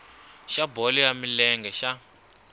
xa bolo ya milenge xa